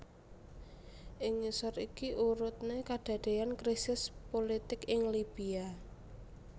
Ing ngisor iki urutne kedadean krisis pulitik ing Libya